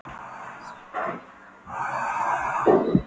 Sólin gerði himininn roðagylltan og logandi.